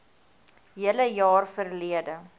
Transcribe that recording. hele jaar verlede